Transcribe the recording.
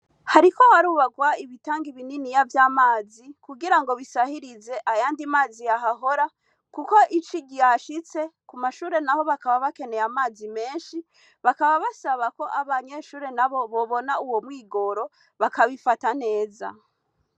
hariko harubakwa ibitangi bininiya vy'amazi kugira basahirize ayandi mazi yaharoha kuko ici ryashice kuko kumashure naho bakaba bashaka amazi menshi bakaba basabako amanyeshure nabo bobona uwomwigoro bakabitafata neza